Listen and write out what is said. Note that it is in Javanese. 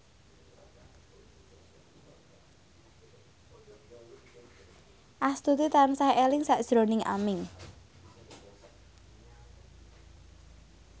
Astuti tansah eling sakjroning Aming